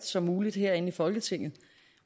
som muligt herinde i folketinget